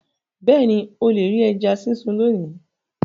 Bẹ́ẹ̀ni, o le ri ẹja sisun loni